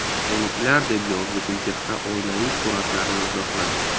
Menikilar”, deb yozdi Gulchehra oilaviy suratlarini izohlab.